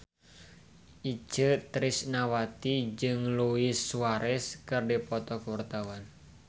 Itje Tresnawati jeung Luis Suarez keur dipoto ku wartawan